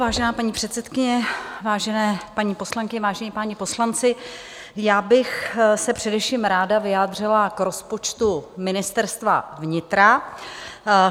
Vážená paní předsedkyně, vážené paní poslankyně, vážení páni poslanci, já bych se především ráda vyjádřila k rozpočtu Ministerstva vnitra.